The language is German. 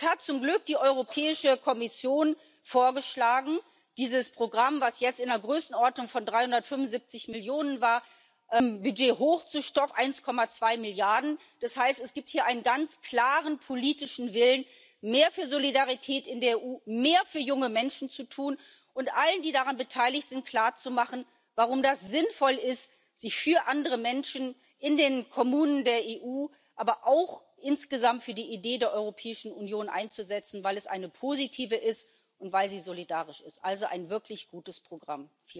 Jetzt hat zum Glück die Europäische Kommission vorgeschlagen, dieses Programm, das jetzt in der Größenordnung von 375 Millionen war, im Budget auf 1,2 Milliarden aufzustocken. Das heißt, es gibt hier einen ganz klaren politischen Willen, mehr für Solidarität in der EU, mehr für junge Menschen zu tun und allen, die daran beteiligt sind, klar zu machen, warum es sinnvoll ist, sich für andere Menschen in den Kommunen der EU, aber auch insgesamt für die Idee der Europäischen Union einzusetzen, weil es eine positive Idee ist und weil sie solidarisch ist also ein wirklich gutes Programm.